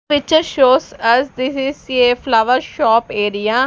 Picture shows us this is a flower shop area.